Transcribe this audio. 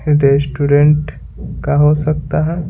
Restaurant का हो सकता है।